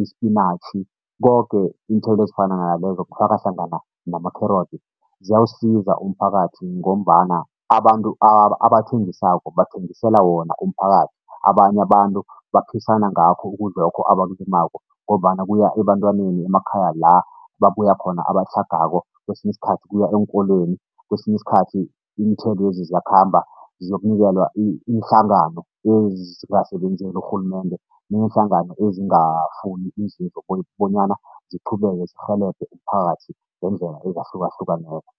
isipinatjhi, koke iinthelo ezifana nalezo kufaka hlangana namakherotsi, ziyawusiza umphakathi ngombana abantu abathengisako, bathengisela wona umphakathi, abanye abantu baphisana ngakho ukudla lokho abakulimako ngombana kuya ebantwaneni emakhaya la babuya khona abatlhagako, kwesinye isikhathi kuya eenkolweni, kwesinye isikhathi iinthelwezi ziyakhamba zokunikelwa iinhlangano ezingasebenzeli urhulumende, neenhlangano ezingafuni inzuzo bonyana ziqhubeke zirhelebhe umphakathi ngeendlela ezahlukahlukaneko.